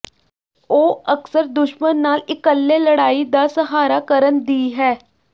ਉਹ ਅਕਸਰ ਦੁਸ਼ਮਣ ਨਾਲ ਇੱਕਲੇ ਲੜਾਈ ਦਾ ਸਹਾਰਾ ਕਰਨ ਦੀ ਹੈ